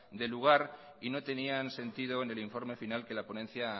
de lugar y no tenían sentido en el informe final que la ponencia